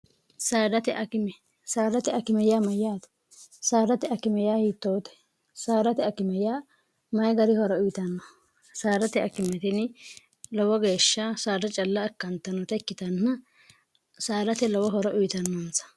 sdtekisaarate akimeyyaa mayyaati saarati akime ya hiittoote saarate akimeyyaa mayi gari horo uyitanno saarate akimetini lowo geeshsha saarrae calla akkantanote ikkitanna saarate lowo horo uyitannoonsa